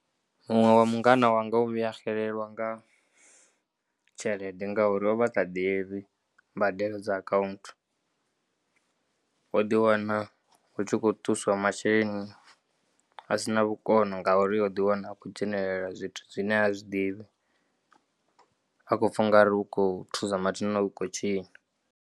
Muṅwe wa mungana wanga o vhuya a xelelwa nga tshelede ngauri ovha a sa ḓivhi mbadelo dza akhaunthu o ḓiwana hu tshi kho ṱuswa masheleni a si na vhukono ngauri o ḓiwana akho dzhenelela zwithu zwine ha zwiḓivhi a khou pfa unga u kho thusa matsina u khou tshinya.